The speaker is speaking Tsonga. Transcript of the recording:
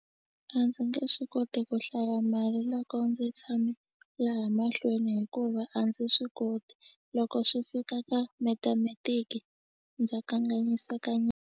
A ndzi nge swi koti ku hlaya mali loko ndzi tshame laha mahlweni hikuva a ndzi swi koti loko swi fika ka mathematic ndza kanganyiseka .